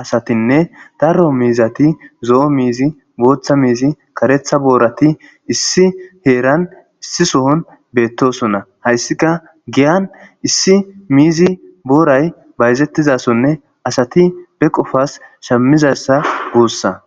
asatinne darro miizati zo7o miizi booththa miizi karetha boorati issi heeran issi sohon beettosona hayssika giyan issi miizi booray bayzettizasonne asati be qofas shammizassa guussa.